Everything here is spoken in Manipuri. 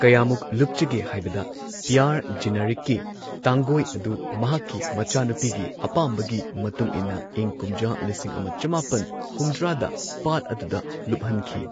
ꯀꯌꯥꯃꯨꯛ ꯂꯨꯞꯆꯒꯦ ꯍꯥꯏꯕꯗ ꯄꯤꯌꯔ ꯖꯤꯅꯔꯦꯠꯀꯤ ꯇꯥꯡꯒꯣꯏ ꯑꯗꯨ ꯃꯍꯥꯛꯀꯤ ꯃꯆꯥꯅꯨꯄꯤꯒꯤ ꯑꯄꯥꯝꯕꯒꯤ ꯃꯇꯨꯡ ꯏꯟꯅ ꯏꯪ ꯀꯨꯝꯖꯥ ꯂꯤꯁꯤꯡ ꯑꯃ ꯆꯃꯥꯄꯟ ꯍꯨꯝꯗ꯭ꯔꯥꯗ ꯄꯥꯠ ꯑꯗꯨꯗ ꯂꯨꯞꯍꯟꯈꯤ꯫